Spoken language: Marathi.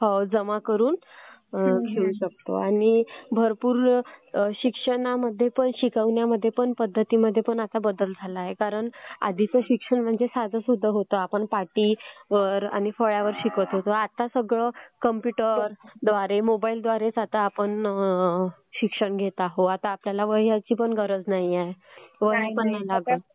जमा करून ठेऊ शकतात आणि शिक्षणामध्ये पण आणि शिकवण्याच्या पद्धतीमध्ये पण आता भरपूर बदल झाला आहे कारण आधीचं शिक्षण म्हणजे साधं सुध होतं. आपण पाटीवर आणि फळ्यावर शिकत होतो. आता सगळं कॉम्प्युटर द्वारे मोबाईल द्वारेच आपण शिक्षण घेत आहोत. आता आपल्याला वह्यांची पण गरज नाहीए.